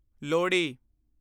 Lohri